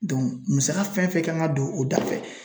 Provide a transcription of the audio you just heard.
Dɔnku musaka fɛn fɛn kan ka don o da fɛ